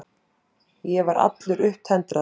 Ég var allur upptendraður.